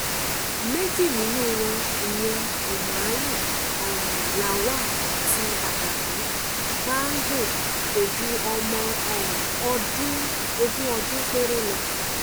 méjì nínú wọn ìyẹn umaru um lawal àti adamu bahago kò ju ọmọ um ogún ọdún péré lọ